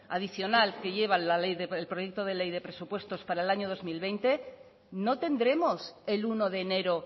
adicional que lleva el proyecto de ley de presupuestos para el año dos mil veinte no tendremos el uno de enero